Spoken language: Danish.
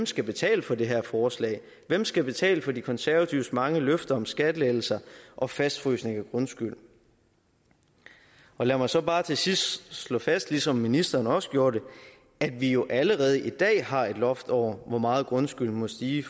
skal betale for det her forslag hvem skal betale for de konservatives mange løfter om skattelettelser og fastfrysning af grundskylden lad mig så bare til sidst slå fast ligesom ministeren også gjorde det at vi jo allerede i dag har et loft over hvor meget grundskylden må stige